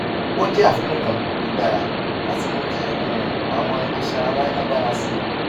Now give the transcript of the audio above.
ó jẹ àfikún kan tó dára láti mú kí um àwọn iṣan ara lágbára sí i